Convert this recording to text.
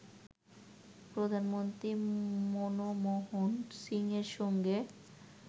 প্রধানমন্ত্রী মনমোহন সিংয়ের সঙ্গে